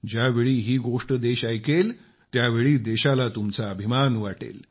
ज्यावेळी ही गोष्ट देश ऐकेल त्यावेळी देशाला तुमचा अभिमान वाटेल